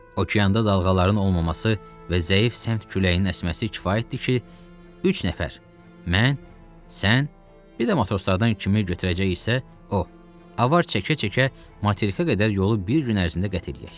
Okeanda dalğaların olmaması və zəif səmt küləyinin əsməsi kifayətdir ki, üç nəfər, mən, sən, bir də matroslardan kimi götürəcəksə, o, avar çəkə-çəkə materikə qədər yolu bir gün ərzində qət eləyər.